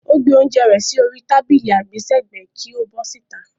Ó gbé oúnjẹ rẹ̀ sí orí tábìlì àgbésẹ̀gbẹ́ kí ó bọ́ síta.